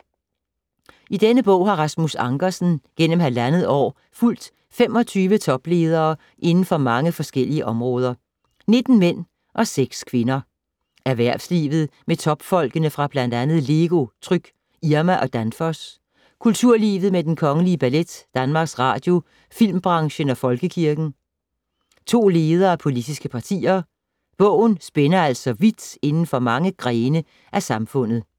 I denne bog har Rasmus Ankersen gennem halvandet år fulgt 25 topledere inden for mange forskellige områder. 19 mænd og seks kvinder. Erhvervslivet med topfolkene fra bl.a. LEGO, Tryg, Irma og Danfoss. Kulturlivet med Den Kongelige Ballet, Danmarks Radio, filmbranchen og folkekirken. To ledere af politiske partier. Bogen spænder altså vidt inden for mange grene af samfundet.